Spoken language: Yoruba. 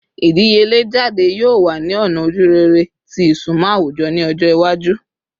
Idiyele jade yoo wa ni ọna ojurere ti isunmọ awujọ ni ọjọ iwaju